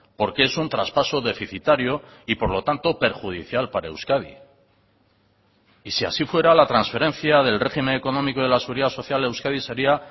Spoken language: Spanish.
porque es un traspaso deficitario y por lo tanto perjudicial para euskadi y si así fuera la transferencia del régimen económico de la seguridad social a euskadi sería